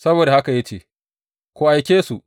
Saboda haka ya ce, Ku aike su.